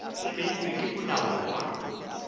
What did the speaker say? e beilwego ke molao wa